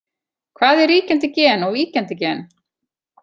Hvað er ríkjandi gen og víkjandi gen?